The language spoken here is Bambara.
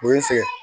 O ye n sɛgɛn